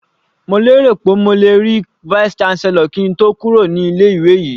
Mo lérò pé mo lè rí Vice chancellor kí n tó kúrò ní ilé ìwé yìí.